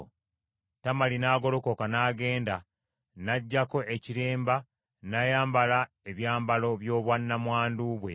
Tamali n’agolokoka n’agenda, n’aggyako ekiremba n’ayambala ebyambalo by’obwannamwandu bwe.